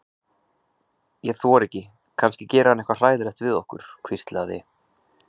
Ég þori ekki, kannski gerir hann eitthvað hræðilegt við okkur. hvíslaði